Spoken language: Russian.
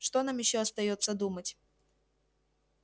что нам ещё остаётся думать